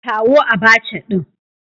Kawo Abacha din